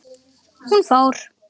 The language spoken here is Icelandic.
Hún fór.